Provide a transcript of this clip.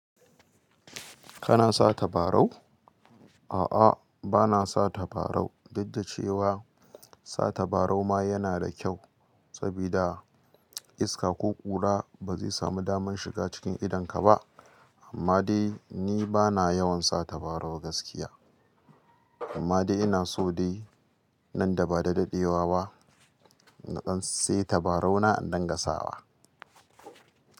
Kana sa tabarau? A'a, bana sa tabarau, duk da cewa sa tabarau ma yana da kyau sabida iska ko ƙura ba zai samu damar shiga cikin idonka ba. Amma dai ni bana yawan sata barau gaskiya. Amma dai ina so dai nan ba da daɗewa ba na dan sai tabarau na in danga sawa.